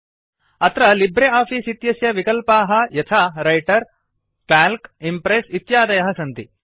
अत्र Libre Office इत्यस्य विकल्पाः यथा व्रिटर काल्क इम्प्रेस् इत्यादयः सन्ति